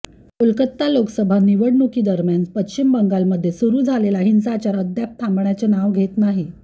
कोलाकाता लोकसभा निवडणुकीदरम्यान पश्चिम बंगालमध्ये सुरू झालेला हिंसाचार अद्याप थांबण्याचे नाव घेत नाही